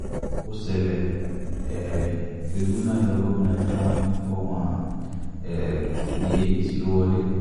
ó ṣẹlẹ̀ um tìrìbùnà yọ gómìnà kánò nípò wọn um ní apc ló wọlé